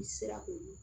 I sera k'olu